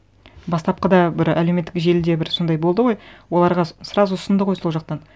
бастапқыда бір әлеуметтік желіде бір сондай болды ғой оларға сразу ұсынды ғой сол жақтан